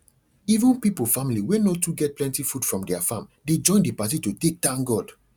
even pipo family wey no too get plenty food from their farm dey join the party to take thank god